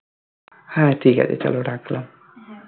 হা ঠিক আছে চলো রাখলাম